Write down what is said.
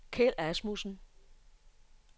Kjeld Asmussen